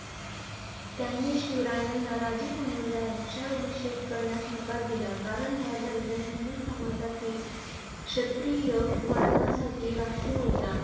त्यांनी शिवरायांना राजा म्हणून राज्याभिषेक करण्यास नकार दिला. कारण हा दर्जा हिंदू समाजातील क्षत्रिय वर्णासाठी राखीव होता.